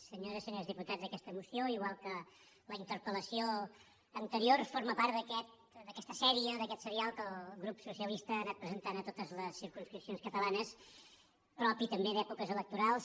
senyores senyors diputats aquesta moció igual que la interpel·lació anterior forma part d’aquesta sèrie d’aquest serial que el grup socialista ha anat presentant a totes les circumscripcions catalanes propi també d’èpoques electorals